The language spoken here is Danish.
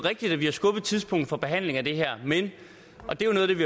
for behandlingen